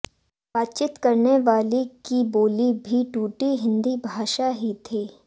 बातचीत करने वाली की बोली भी टूटी हिंदी भाषा ही थी